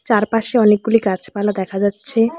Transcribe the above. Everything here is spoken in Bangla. চারপাশে অনেকগুলি গাছপালা দেখা যাচ্ছে।